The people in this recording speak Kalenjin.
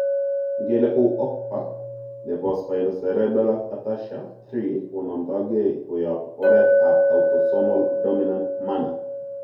Ingele kou OCPA nepo spinocerebellar ataxia 3 konamdege koyap oretap autosomal dominant manner.